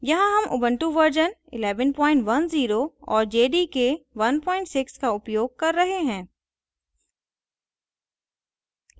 यहाँ हम ubuntu version 1110 और jdk 16 का उपयोग कर रहे हैं